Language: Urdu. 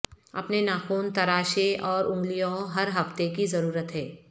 اپنے ناخن تراشیں اور انگلیوں ہر ہفتے کی ضرورت ہے